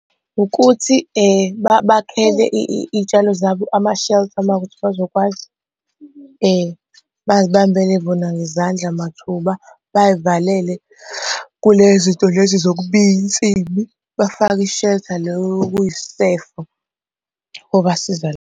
Ukuthi bakhele iy'tshalo zabo ama-shelter uma kuwukuthi bazokwazi, bay'bambele bona ngezandla mathuba. Bay'valele kule zinto lezi zokubiya insimi, bafake i-shelter lo okuyisisefo, kobasiza .